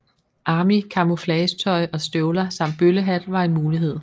Army camouflage tøj og støvler samt bøllehat var en mulighed